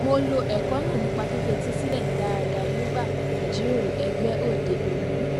mo lo ẹkọ náà nípa fífetí sílè dáadáa nígbà ìjíròrò ẹgbé òde òní